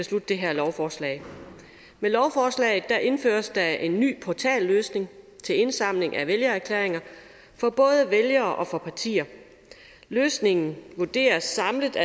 det her lovforslag med lovforslaget indføres der en ny portalløsning til indsamling af vælgererklæringer for både vælgere og partier løsningen vurderes samlet